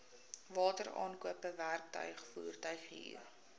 wateraankope werktuig voertuighuur